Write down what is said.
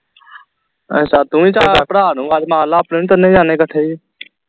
ਅੱਛਾ ਤੂੰ ਵੀ ਭਰਾ ਨੂੰ ਆਵਾਜ਼ ਮਾਰ ਲਾ ਆਪਣੇ ਨੂੰ ਤਿੰਨੇ ਜਾਂਦੇ ਇਕੱਠੇ